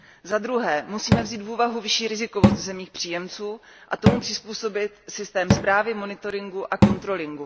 Za druhé, musíme vzít v úvahu vyšší rizikovost v zemích příjemců a tomu přizpůsobit systém správy, monitoringu a kontroly.